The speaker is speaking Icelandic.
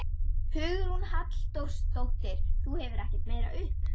Hugrún Halldórsdóttir: Þú gefur ekkert meira upp?